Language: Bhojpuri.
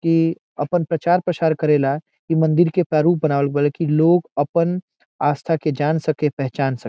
ई अपन प्रचार प्रसार करेला ई मंदिर के प्रारूप बनावल गोइल बा की लोग अपन आस्था के जान सके पहचान सके।